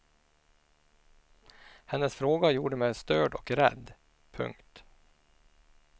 Hennes fråga gjorde mig störd och rädd. punkt